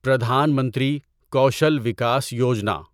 Pradhan Mantri Kaushal Vikas Yojana